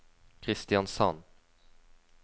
Kristiansand